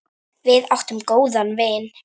Við áttum góðan vin.